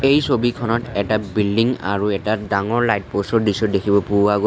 এই ছবিখনত এটা বিল্ডিং আৰু এটা ডাঙৰ লাইট প'ষ্ট ৰ দৃশ্য দেখিব পোৱা গৈছ--